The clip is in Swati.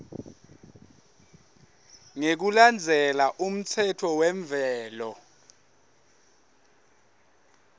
ngekulandzela umtsetfo wemvelo